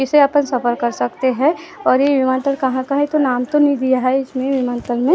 इसे अपन सफर कर सकते हैं और ये हिमाचल कहाँ का है तो नाम तो नहीं दिया है इसमे हिमाचल में लेकिन।